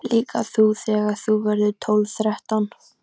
Líka þú þegar þú verður tólf, þrettán.